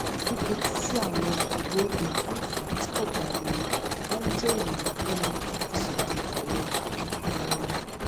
fífetí sí àwọn ìró èfúùfù tí kò pariwo máa ń jé ìrànwọ fún mi láti ṣètò ìbàlẹ ọkàn fún oorun